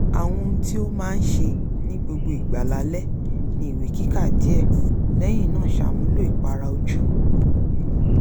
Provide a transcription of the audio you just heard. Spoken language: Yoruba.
àwọn ohun tí ó máa ń ṣe ní gbogbo ìgbà lálẹ́ ni ìwẹ̀ kíkàwé díẹ̀ lẹ́yìn náà ṣàmúlò ìpara ojú